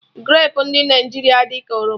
Grapu ndụ Naijiria dị ka oroma